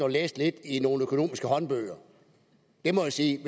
at læse lidt i nogle økonomiske håndbøger det må jeg sige